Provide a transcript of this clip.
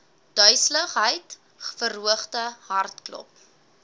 duiseligheid verhoogde hartklop